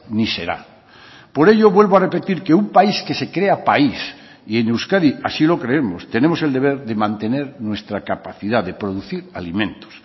ni será por ello vuelvo a repetir que un país que se crea país y en euskadi así lo creemos tenemos el deber de mantener nuestra capacidad de producir alimentos